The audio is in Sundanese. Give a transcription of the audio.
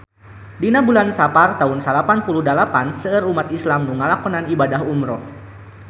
Dina bulan Sapar taun salapan puluh dalapan seueur umat islam nu ngalakonan ibadah umrah